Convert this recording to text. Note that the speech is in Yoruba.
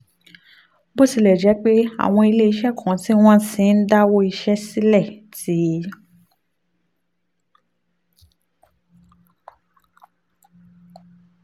bó tilẹ̀ jẹ́ pé àwọn ilé iṣẹ́ kan tí wọ́n ti ń dáwọ́ iṣẹ́ sílẹ̀ ti